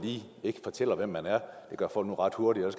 ikke fortæller hvem man er det gør folk nu ret hurtigt og